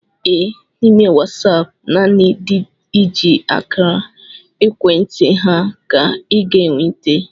Ee, n'ime Wasaapụ nanị ndị i ji akara ekwentị ha ka I ga n'enweta